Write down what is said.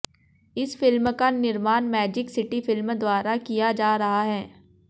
इस फिल्म का निर्माण मैजिक सिटी फिल्म द्वारा किया जा रहा है